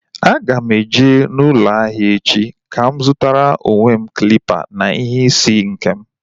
A ga m eje n'ụlọ ahịa echi ka m zutara onwe m klịpa na nhá isi nkem